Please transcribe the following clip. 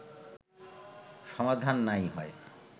সমাধান নাই হয়